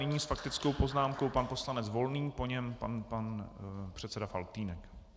Nyní s faktickou poznámkou pan poslanec Volný, po něm pan předseda Faltýnek.